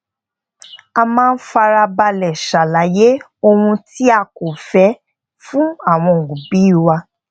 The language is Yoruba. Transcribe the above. a máa ń fara balè ṣàlàyé ohun ti a ko fẹ́ fun awọn obi wa